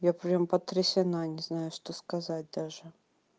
я прям потрясена не знаю что сказать даже